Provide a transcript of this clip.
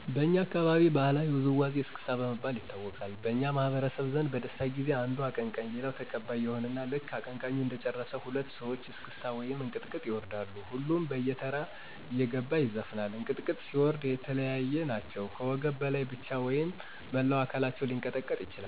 በኛ አካባቢ ባህላዊ ውዝዋዜወች እስክስታ በመባል ይታወቃሉ። በኛ ማህበረሰብ ዘንድ በደስታ ጊዜ አንዱ አቀንቀኝ ሌሎች ተቀባይ ይሆኑና ልክ አቀንቃኙ እንደጨረሰ ሁለት ሰወች እስክታ ወይም እንቅጥቅጥ ይወርዳሉ። ሁሉም በተራ እየገባ ይዘፍናል። እንቅጥቅጥ ሲወርዱ የለያየ ናቸው ከወገብ በላይ ብቻ ወይም መላው አከላቸው ሊቀጠቀጥ ይችላል።